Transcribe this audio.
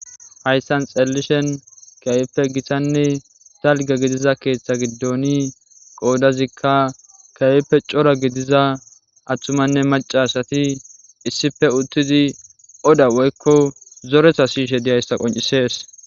Hayssan xeelishin kehippe gittane dalgga gidiza keththa giddon qodazika kehippe cora gidiza attumanne macca asati issippe uttidi odda woykko zoretta siyishshe diyayssa qonccises.